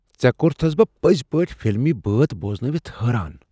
ژے٘ كورتھس بہٕ پزۍ پٲٹھۍ فلمی بٲتھ بوزنٲوِتھ حٲران۔